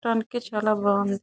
మొత్తానికి చాల బాగుంది.